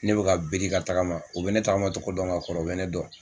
Ne bɛ ka biri ka tagama o bɛ ne tagama cogo dɔn ka kɔrɔ o bɛ ne dɔn,